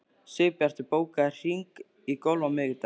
Sigbjartur, bókaðu hring í golf á miðvikudaginn.